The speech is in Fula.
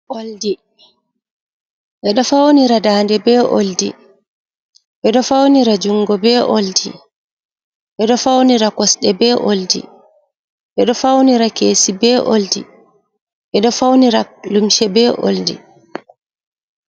Oldi, ɓeɗo faunira daande be oldi, ɓeɗo faunira jungo be oldi, ɓeɗo edo faunira kosɗe be oldi, ɓeɗo faunira keesi be oldi, ɓeɗo faunira lumce be oldi.